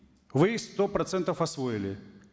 вы их сто процентов освоили